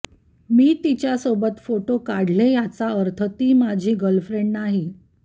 मी तिच्यासोबत फोटो काढले याचा अर्थ ती माझी गर्लफ्रेंड नाही